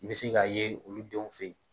I bi se k'a ye olu denw fɛ yen